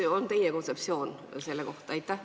Mis on teie kontseptsioon selle kohta?